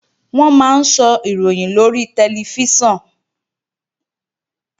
Wọ́n máa ń sọ̀ròyìn lórí tẹlifíṣàn